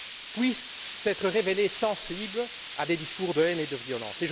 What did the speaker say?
puissent s'être révélés sensibles à des discours de haine et de violence?,